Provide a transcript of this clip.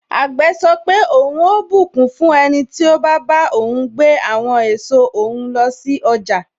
Àgbè sọ pé, ohun ó bùkún fún ẹniti o ba bá ohun gbé àwọn èso òhun lọ sí ọjà.